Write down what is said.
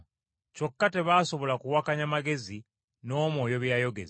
Kyokka tebaasobola kuwakanya magezi n’Omwoyo bye yayogeza.